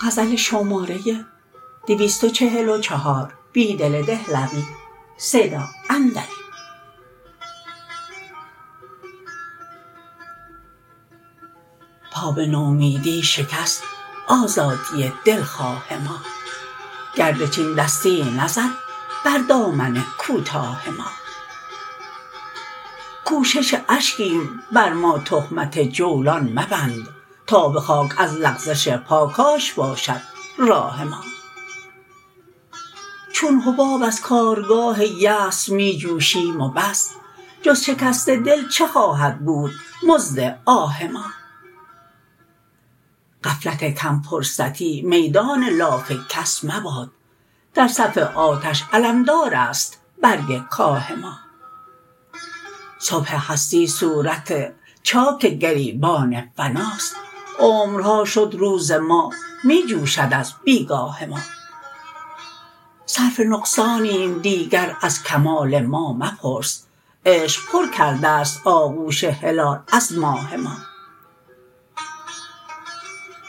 پا به نومیدی شکست آزادی دلخواه ما گرد چین دستی نزد بر دامن کوتاه ما کوشش اشکیم بر ما تهمت جولان مبند تا به خاک از لغزش پا کاش باشد راه ما چون حباب از کارگاه یأس می جوشیم و بس جز شکست دل چه خواهد بود مزد آه ما غفلت کم فرصتی میدان لاف کس مباد در صف آتش علمدار است برگ کاه ما صبح هستی صورت چاک گریبان فناست عمرها شد روز ما می جوشد از بیگاه ما صرف نقصانیم دیگر از کمال ما مپرس عشق پرکردست آغوش هلال از ماه ما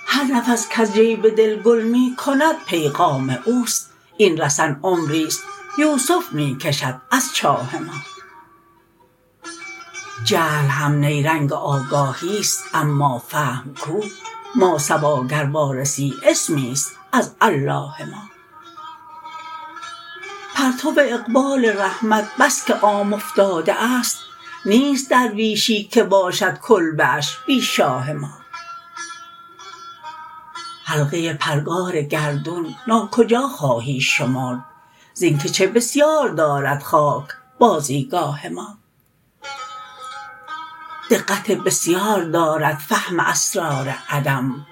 هر نفس کز جیب دل گل می کند پیغام اوست این رسن عمریست یوسف می کشد از چا ه ما جهل هم نیرنگ آگاهیست اما فهم کو ماسوا گر وارسی اسمیست از الله ما پرتو اقبال رحمت بسکه عام افتاده است نیست درویشی که باشد کلبه اش بی شاه ما حلقه پرگار گردون تا کجا خواهی شمرد زین کچه بسیار دارد خاک بازیگاه ما دقت بسیار دارد فهم اسرار عدم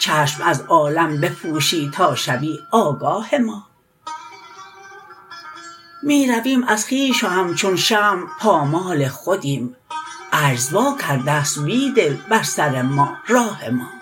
چشم از عالم بپوشی تا شوی آگاه ما می رویم از خویش و همچون شمع پامال خودیم عجز واکردست بیدل بر سر ما راه ما